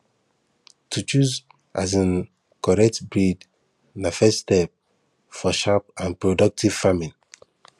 to choose um correct breed na the first step for sharp and productive farming